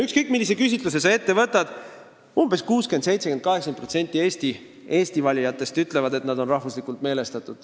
Ükskõik millise küsitluse sa ette võtad, umbes 60%, 70%, 80% eesti valijatest ütlevad, et nad on rahvuslikult meelestatud.